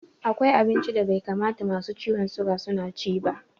Akwai abinci da bai kamata masu ciwon suga su ci ba.